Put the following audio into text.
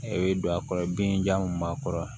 I bɛ don a kɔrɔ binja mun b'a kɔrɔ